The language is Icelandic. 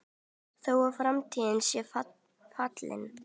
Þó að framtíð sé falin